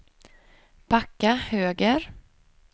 backa höger